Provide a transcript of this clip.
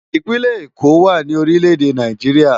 Ipinlè Ékó wá ni órilè édé Náijiriá